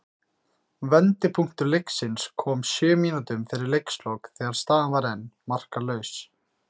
Vendipunktur leiksins kom sjö mínútum fyrir leikslok þegar staðan var enn markalaus.